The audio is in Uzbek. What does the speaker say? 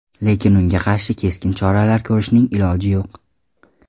Lekin unga qarshi keskin choralar ko‘rishning iloji yo‘q.